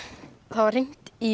það var hringt í